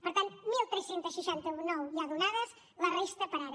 per tant tretze seixanta nou de ja donades la resta per a ara